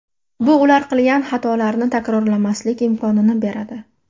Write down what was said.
Bu ular qilgan xatolarni takrorlamaslik imkonini beradi.